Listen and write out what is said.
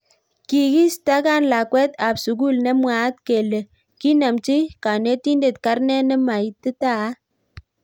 Kikiistakan lakwet ab sukul nemwaat kele kinamchi kanitendet karnet nemaititat.